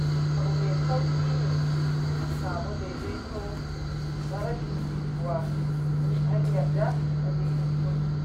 Abu mai sauƙi ne a samu daidaito na rashin jituwa in an yarda an yi kuskure.